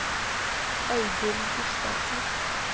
Audhild Gustavsen